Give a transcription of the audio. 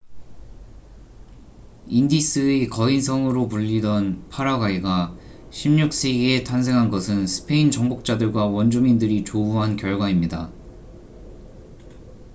인디스의 거인성'으로 불리던 파라과이가 16세기에 탄생한 것은 스페인 정복자들과 원주민들이 조우한 결과입니다